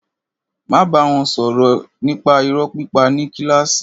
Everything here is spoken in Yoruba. Máa bá wọn sọ̀rọ̀ nípa irọ́ pípa ní kílàsì.